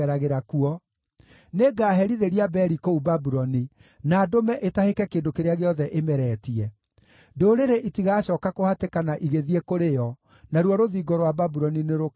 Nĩngaherithĩria Beli kũu Babuloni na ndũme ĩtahĩke kĩndũ kĩrĩa gĩothe ĩmeretie. Ndũrĩrĩ itigacooka kũhatĩkana igĩthiĩ kũrĩ yo. Naruo rũthingo rwa Babuloni nĩrũkaagũa.